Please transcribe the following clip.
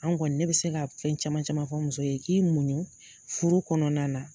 An kɔni ne be se ka fɛn caman caman fɔ muso ye k'i muɲun furu kɔnɔna na